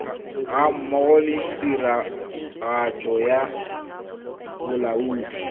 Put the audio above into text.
gammogo le tiragatso ya bolaodi